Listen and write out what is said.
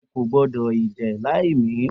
O ko gbodo ije lai mi!